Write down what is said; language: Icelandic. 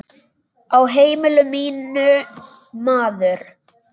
Á heimili mínu, maður.